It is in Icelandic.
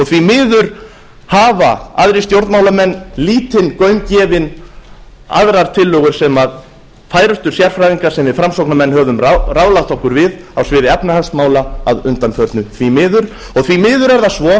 miður hafa aðrir stjórnmálamenn lítinn gaum gefið öðrum tillögum sem færustu sérfræðingar sem við framsóknarmenn höfum ráðfært okkur við á sviði efnahagsmála að undanförnu því miður og því miður er það